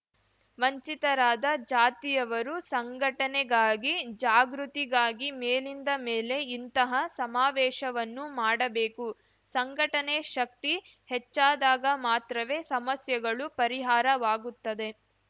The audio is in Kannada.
ವಂಚಿತರಾದ ಜಾತಿಯವರು ಸಂಘಟನೆಗಾಗಿ ಜಾಗೃತಿಗಾಗಿ ಮೇಲಿಂದ ಮೇಲೆ ಇಂತಹ ಸಮಾವೇಶವನ್ನು ಮಾಡಬೇಕು ಸಂಘಟನೆ ಶಕ್ತಿ ಹೆಚ್ಚಾದಾಗ ಮಾತ್ರವೇ ಸಮಸ್ಯೆಗಳು ಪರಿಹಾರವಾಗುತ್ತದೆ